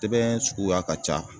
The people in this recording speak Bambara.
Tɛbɛn suguya ka ca